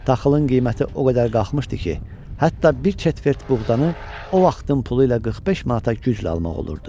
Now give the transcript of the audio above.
Taxılın qiyməti o qədər qalxmışdı ki, hətta bir çetvert buğdanı o vaxtın pulu ilə 45 manata güclə almaq olurdu.